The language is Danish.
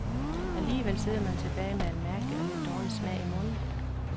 Alligevel sidder man tilbage med en mærkelig og lidt dårlig smag i munden.